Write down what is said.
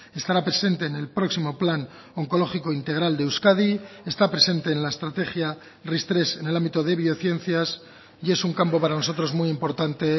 estará presente en el próximo plan oncológico integral de euskadi está presente en la estrategia ris tres en el ámbito de biociencias y es un campo para nosotros muy importante